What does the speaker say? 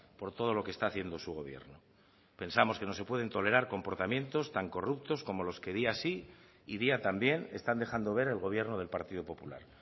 por todo lo que está haciendo su gobierno pensamos que no se pueden tolerar comportamientos tan corruptos como los que día sí y día también están dejando ver el gobierno del partido popular